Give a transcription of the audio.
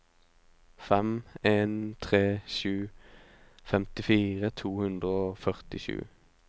fem en tre sju femtifire to hundre og førtisju